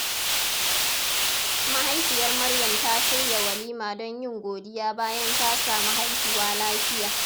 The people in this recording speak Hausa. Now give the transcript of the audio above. Mahaifiyar Maryam ta shirya walima don yin godiya bayan ta samu haihuwa lafiya.